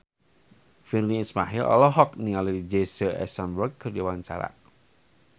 Virnie Ismail olohok ningali Jesse Eisenberg keur diwawancara